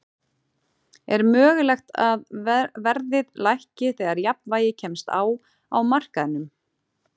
Er mögulegt að verðið lækki þegar jafnvægi kemst á á markaðnum?